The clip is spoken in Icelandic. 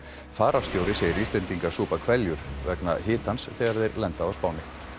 fararstjóri segir Íslendinga súpa hveljur vegna hitans þegar þeir lenda á Spáni